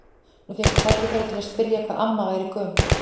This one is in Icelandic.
Nú fékk ég tækifæri til að spyrja hvað amma væri gömul.